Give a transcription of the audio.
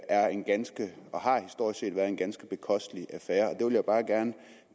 er en ganske og har historisk set været en ganske bekosteligt affære og det vil jeg bare gerne